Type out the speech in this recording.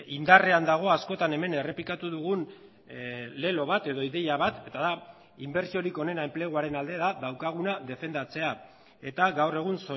indarrean dago askotan hemen errepikatu dugun lelo bat edo ideia bat eta da inbertsiorik onena enpleguaren alde da daukaguna defendatzea eta gaur egun